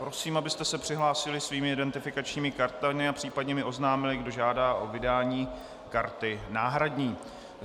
Prosím, abyste se přihlásili svými identifikačními kartami a případně mi oznámili, kdo žádá o vydání karty náhradní.